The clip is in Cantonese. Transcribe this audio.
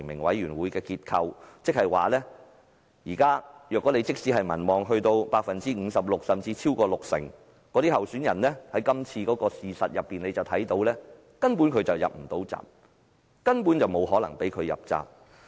換言之，即使參選人的民望高達 56% 甚至超過六成，但從今次事件不難發現，他始終無法入閘，亦根本不會讓他入閘。